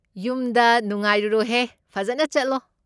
ꯌꯨꯝꯗ ꯅꯨꯡꯉꯥꯔꯨꯔꯣꯍꯦ, ꯐꯖꯟꯅ ꯆꯠꯂꯣ꯫